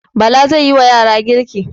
Bala zai wa yara girka.